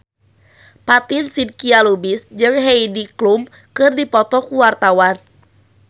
Fatin Shidqia Lubis jeung Heidi Klum keur dipoto ku wartawan